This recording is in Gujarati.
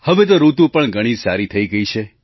હવે તો ઋતુ પણ ઘણી સારી થઈ ગઈ છે